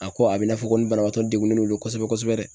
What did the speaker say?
A ko a bɛ i n'a fɔ ko nin banabagatɔ degunnen don kosɛbɛ kosɛbɛ.